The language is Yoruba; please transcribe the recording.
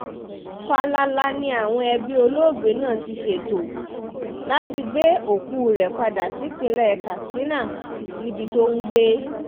fàlàlà ni àwọn ẹbí olóògbé náà ti ṣètò láti gbé òkú rẹ̀ padà sípínlẹ̀ katsina níbi tó ń gbé